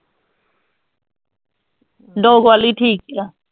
dog ਵਾਲੀ ਠੀਕ ਆ